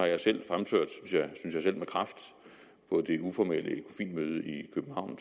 jeg selv fremført med kraft på det uformelle ecofin møde i københavn